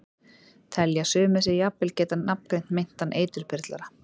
Telja sumir sig jafnvel geta nafngreint meintan eiturbyrlara.